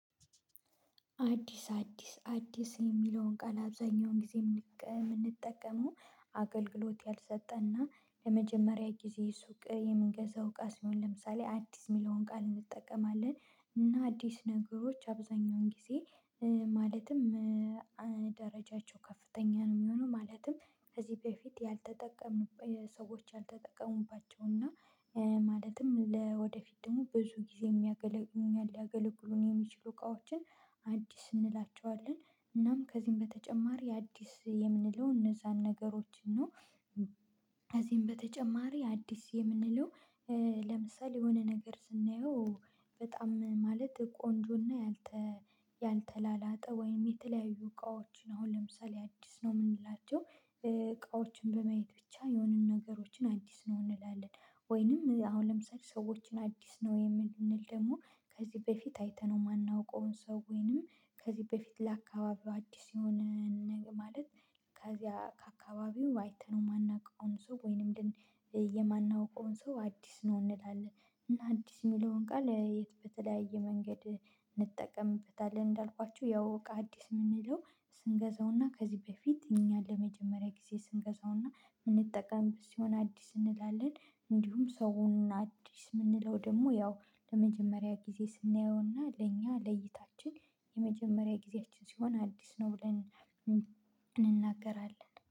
አዲስ አዲስ አዲስ የሚለውን ቃል አብዛኛውን ጊዜ የምንጠቀመው አገልግሎት ያልሰጠና ለመጀመሪያ ጊዜ ሱቅ የምንገዛው እቃ ሲሆን ለምሳሌ አዲስ የሚለውን ቃል እንጠቀማለን እና አዲስ ነገሮች አብዛኛውን ጊዜ ማለትም ደረጃቸው ከፍተኛ ነው የሚሆነው ማለትም ከዚህ በፊት ያልተጠቀሙ ሰዎች ያልተጠቀሙባቸው እና ማለትም ለወደፊት ደግሞ ብዙ ጊዜ የሚያገለግሉ ሊያገለግሉን የሚችሉ እቃዎችን እንላቸዋለን እናም ከዚህም በተጨማሪ አዲስ የምንለው እነዛን ነገሮች ነው። ከዚህም በተጨማሪ አዲስ የምንለው ለምሳሌ የሆነ ነገር ስናየው በጣም ማለት ቆንጆና ያልተላላጠ ወይም የተለያዩ እቃዎችን አሁን ለምሳሌ አዲስ ነው የምንላቸው እቃዎችን በማየት ብቻ የሆኑን ነገሮችን አዲስ ነው እንላለን ወይንም አሁን ለምሳሌ ሰዎችን አዲስ ነው የምንል ደግሞ ከዚህ በፊት አይተነው የማናውቀውን ሰው ወይንም ከዚህ በፊት ለአካባቢው አዲስ የሆነ ማለት ከዚያ ከአካባቢው አይተነው የማናውቀውን ሰው ወይንም የማናውቀውን ሰው አዲስ ነው እንላለን። እና አዲስ የሚለውን ቃል የት በተለያየ መንገድ እንጠቀምበታለን እንዳልኳችሁ ያው አዲስ የምንለው ስንገዛውና ከዚህ በፊት እኛን ለመጀመሪያ ጊዜ ስንገዛውና የምንጠቀምበት ሲሆን አዲስ እንላለን እንዲሁም ሰውን አዲስ የምንለው ደግሞ ያው ለመጀመሪያ ጊዜ ስናየውና ለእኛ ለይታችን የመጀመሪያ ጊዜያችን ሲሆን አዲስ ነው ብለን እንናገራለን